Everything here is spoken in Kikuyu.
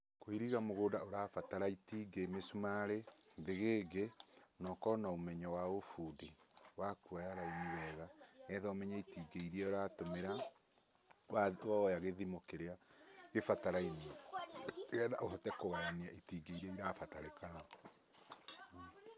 Kũiriga mũgũnda ũrabatara itingĩ mĩcumarĩ, thĩgĩngĩ na ũkorwo na ũmenyo wa ũbundi wa kuoya raini wega, nĩgetha ũmenye itingĩ iria ũratũmĩra woya gĩthimo kĩrĩa gĩbatarainie nĩgetha ũhote kũgayania itingĩ iria ĩrabatarĩkana.